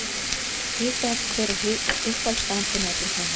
Hita upp Hver er uppáhaldsstaðurinn þinn í öllum heiminum?